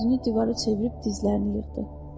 Üzünü divara çevirib dizlərini yığdı.